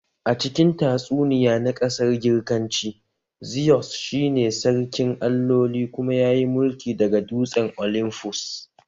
A cikin tatsuniya na ƙasar Girkanci, Zeus shi ne sarkin alloli kuma yayi mulki daga dutsen olymfus